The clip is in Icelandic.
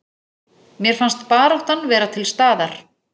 Mér fannst baráttan vera til staðar